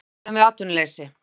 Við vöruðum við atvinnuleysi